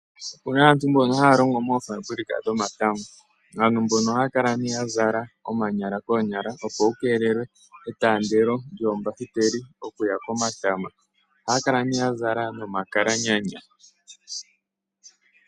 Opena aantu mboka haya longo mofambulika dhomatama , aantu mbono ohaya kala nduno ya zala omanyala koonyala opo ku kelelwe etandelo lyombakiteli okuya komatama ,ohaya kala ne yazala nomakalanyana.